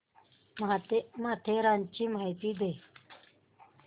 माथेरानची माहिती दे